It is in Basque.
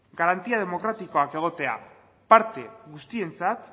garantia demokratikoak egotea parte guztientzat